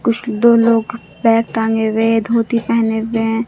कुछ दो लोग बैग टंगे हुए है धोती पेहने हुए है।